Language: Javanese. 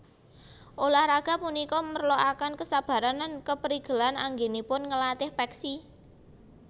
Ulah raga punika merlokaken kesabaran lan keprigelan anggènipun nglatih peksi